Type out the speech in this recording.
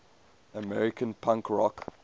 american punk rock